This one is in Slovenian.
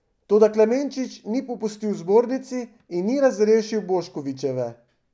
Toda Klemenčič ni popustil zbornici in ni razrešil Boškovičeve.